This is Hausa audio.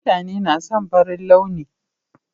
Mutane na son farin launi.